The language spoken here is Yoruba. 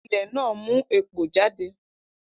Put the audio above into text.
Ilẹ̀ náà mú èpò jáde